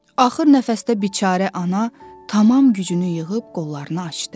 Axır nəfəsdə biçarə ana tam gücünü yığıb qollarını açdı.